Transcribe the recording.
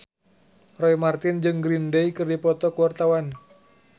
Roy Marten jeung Green Day keur dipoto ku wartawan